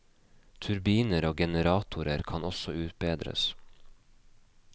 Turbiner og generatorer kan også utbedres.